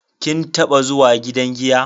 Kin taba zuwa gidan giya?